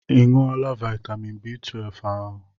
I ṅụọla vitamin B12 ahụ?